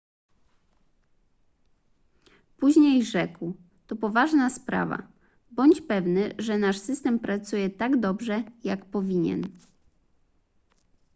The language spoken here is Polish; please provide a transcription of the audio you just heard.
później rzekł to poważna sprawa bądź pewny że nasz system pracuje tak dobrze jak powinien